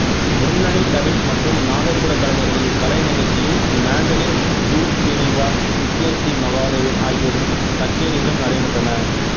முன்னணி தவில் மற்றும் நாதசுவரக் கலைஞர்களின் கலை நிகழ்ச்சியும் மாண்டலின் யு ஸ்ரீநிவாஸ் நித்யஸ்ரீ மகாதேவன் ஆகியோரின் கச்சேரிகளும் நடைபெற்றன